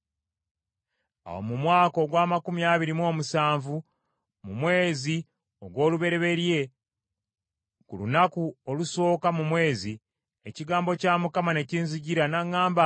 Awo mu mwaka ogw’amakumi abiri mu omusanvu, mu mwezi ogw’olubereberye ku lunaku olusooka mu mwezi, ekigambo kya Mukama ne kinzijira n’aŋŋamba nti,